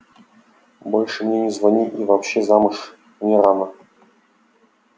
больше мне не звони и вообще замуж мне рано